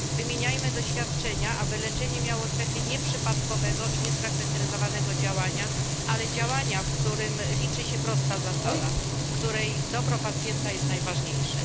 Wymieniajmy doświadczenia, aby leczenie miało cechy nie przypadkowego i fragmentarycznego działania, ale działania, w którym liczy się prosta zasada głosząca, że dobro pacjenta jest najważniejsze.